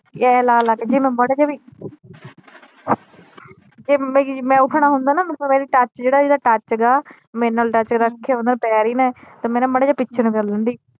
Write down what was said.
ਇਹ ਲਾ ਲਾ ਕੇ ਜੇ ਮੈ ਮਾੜਾ ਜਿਹਾ ਵੀ ਜਿਵੇ ਕੇ ਮੈ ਉੱਠਣਾ ਹੁੰਦਾ ਨਾ ਮੈਨੂੰ ਪਤਾ ਏਦਾਂ ਟਚ ਜਿਹੜਾ ਏਦਾਂ ਟਚ ਹੇਗਾ ਮੇਰੇ ਨਾਲ ਟਚ ਰੱਖ ਕੇ ਪੈਰ ਈ ਨਾ ਤੇ ਮੈ ਨਾ ਮਾੜਾ ਜਿਹਾ ਪਿੱਛੇ ਨੂੰ ਨੂੰ ਕਰ ਲੈਂਦੀ।